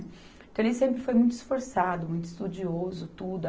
Então, ele sempre foi muito esforçado, muito estudioso, tudo.